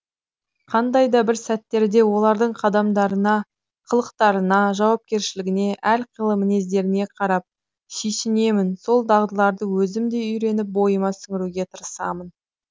қандай да бір сәттерде олардың қадамдарына қылықтарына жауапкершілігіне әрқилы мінездеріне қарап сол дағдыларды өзім де үйреніп бойыма сіңіруге тырысамын